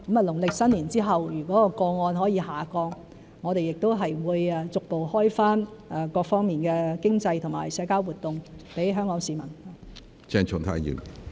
農曆新年後如果個案下降，我們亦會逐步開放各方面的經濟和社交活動給香港市民。